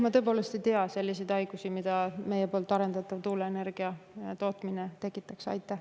Ma tõepoolest ei tea selliseid haigusi, mida meie arendatav tuuleenergia tootmine võib tekitada.